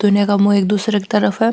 ये का मुँह एक दूसरे की तरफ है।